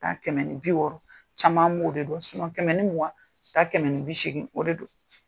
Taa kɛmɛ ni bi wɔɔrɔ caman mo de don, kɛmɛ ni mugan, ka taa kɛmɛ ni bi segin o de don.